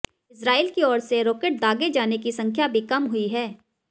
Israel की ओर से रॉकेट दागे जाने की संख्या भी कम हुई है